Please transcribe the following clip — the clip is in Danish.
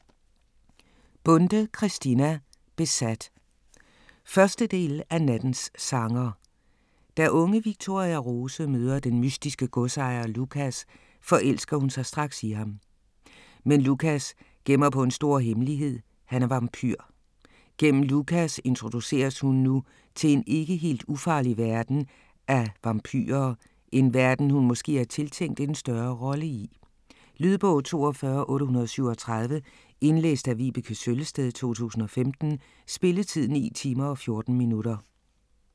Bonde, Christina: Besat 1. del af Nattens sanger. Da unge Victoria Rose møder den mystiske godsejer Lucas, forelsker hun sig straks i ham. Men Lucas gemmer på en stor hemmelighed, han er vampyr. Gennem Lucas introduceres hun nu til en ikke helt ufarlig verden af vampyrer, en verden hun måske er tiltænkt en større rolle i? Lydbog 42837 Indlæst af Vibeke Søllested, 2015. Spilletid: 9 timer, 14 minutter.